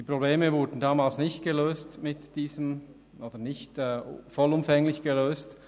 Die Probleme wurden damals nicht vollumfänglich gelöst.